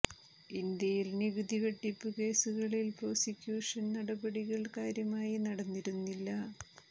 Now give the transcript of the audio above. ഇന്ത്യയിൽ നികുതി വെട്ടിപ്പ് കേസുകളി ൽ പ്രോസിക്യൂഷ ൻ നടപടിക ൾ കാര്യമായി നടന്നിരുന്നില്ല